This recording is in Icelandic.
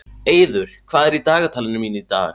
Eiður, hvað er í dagatalinu mínu í dag?